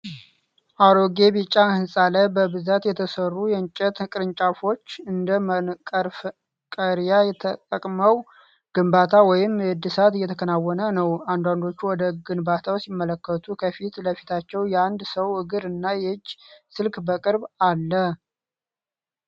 አሮጌ ቢጫ ሕንፃ ላይ በብዛት የተሰሩ የእንጨት ቅርንጫፎች እንደ መቀርቀሪያ ተጠቅመው ግንባታ ወይም እድሳት እየተከናወነ ነው። አንዳንዶቹ ወደ ግንባታው ሲመለከቱ፣ ከፊት ለፊታቸው የአንድ ሰው እግር እና የእጅ ስልክ በቅርብ አለ፡፡